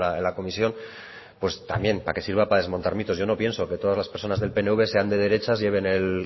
en la comisión pues también para que sirva para desmontar mitos yo no pienso que todas las personas del pnv sean de derechas lleven el